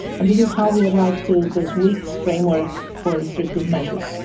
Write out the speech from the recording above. And this is how we arrived to this week's framework for restrictive measures.